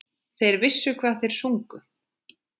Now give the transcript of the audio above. Þeir vissu hvað þeir sungu.